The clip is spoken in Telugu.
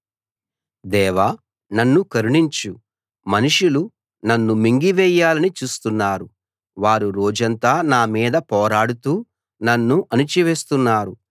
దేవా నన్ను కరుణించు మనుషులు నన్ను మింగివేయాలని చూస్తున్నారు వారు రోజంతా నా మీద పోరాడుతూ నన్ను అణచివేస్తున్నారు